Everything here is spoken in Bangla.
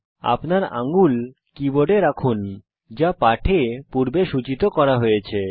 আপনার আঙ্গুল কীবোর্ডে রাখুন যা পাঠে পূর্বে সুচিত করা হয়েছে